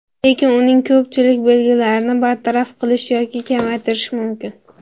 Lekin uning ko‘pchilik belgilarini bartaraf qilish yoki kamaytirish mumkin.